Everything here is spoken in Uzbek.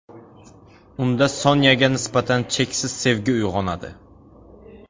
Unda Sonyaga nisbatan cheksiz sevgi uyg‘onadi.